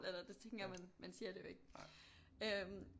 Eller det tænker man man siger det jo ikke